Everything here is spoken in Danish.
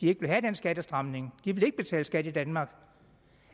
ville have den skattestramning de ville ikke betale skat i danmark